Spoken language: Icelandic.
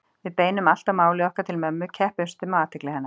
Við beinum alltaf máli okkar til mömmu, keppumst um athygli hennar